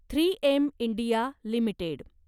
three M India limited